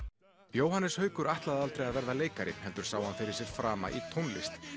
Jóhannes Haukur ætlaði aldrei að verða leikari heldur sá hann fyrir sér fram í tónlist